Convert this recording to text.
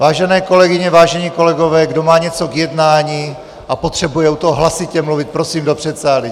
Vážené kolegyně, vážení kolegové, kdo má něco k jednání a potřebuje u toho hlasitě mluvit, prosím do předsálí.